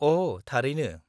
-अ' थारैनो?